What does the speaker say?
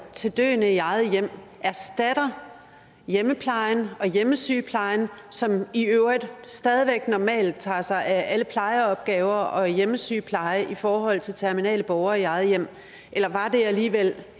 til døende i eget hjem erstatter hjemmeplejen og hjemmesygeplejen som i øvrigt stadig væk normalt tager sig af alle plejeopgaver og hjemmesygepleje i forhold til terminale borgere i eget hjem eller var det alligevel